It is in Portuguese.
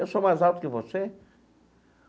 Eu sou mais alto que você.